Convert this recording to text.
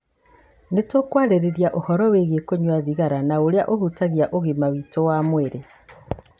Nĩ tũkwarĩrĩria ũhoro wĩgiĩ kũnyua thigara na ũrĩa ũhutagia ũgima witũ wa mwĩrĩ.